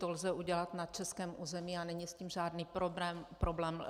To lze udělat na českém území a není s tím řádný problém.